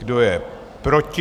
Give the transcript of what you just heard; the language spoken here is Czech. Kdo je proti?